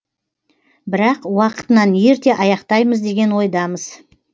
бірақ уақытынан ерте аяқтаймыз деген ойдамыз